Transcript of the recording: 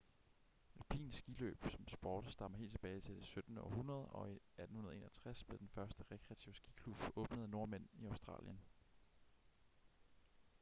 alpin skiløb som sport stammer helt tilbage til det 17. århundrede og i 1861 blev den første rekreative skiklub åbnet af nordmænd i australien